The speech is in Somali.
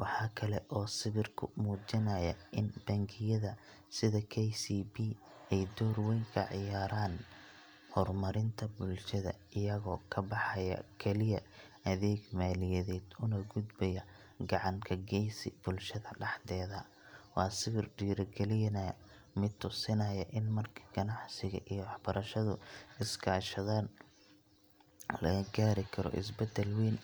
Waxa kale oo sawirku muujinayaa in bangiyada sida KCB ay door weyn ka ciyaarayaan horumarinta bulshada, iyagoo ka baxaya kaliya adeeg maaliyadeed, una gudbaya gacan ka geysi bulshada dhexdeeda. Waa sawir dhiirrigelinaya mid tusinaya in marka ganacsiga iyo waxbarashadu iskaashadaan, laga gaari karo isbeddel weyn oo faa’iido u leh jiilka cusub.